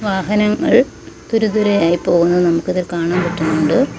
വാഹനങ്ങൾ തുരുതുരെയായി പോകുന്നത് നമുക്ക് ഇതിൽ കാണാൻ പറ്റുന്നുണ്ട്.